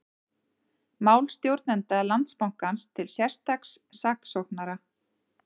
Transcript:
Mál stjórnenda Landsbankans til sérstaks saksóknara